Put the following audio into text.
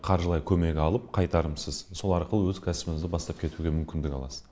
қаржылай көмек алып қайтарымсыз сол арқылы өз кәсібіңізді бастап кетуге мүмкіндік аласыз